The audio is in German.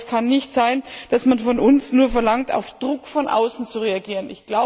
Aber es kann nicht sein, dass man von uns nur verlangt, auf Druck von außen zu reagieren.